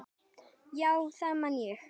Já, það man ég